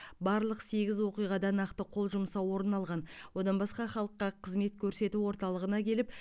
барлық сегіз оқиғада нақты қол жұмсау орын алған одан басқа халыққа қызмет көрсету орталығына келіп